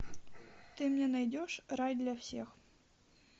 ты мне найдешь рай для всех